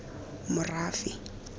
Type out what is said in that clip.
morafe